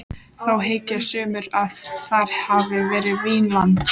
Þó hyggja sumir að þar hafi verið Vínland sjálft.